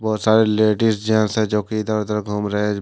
बहोत सारे ladies gents है जो की इधर उधर घूम रहे--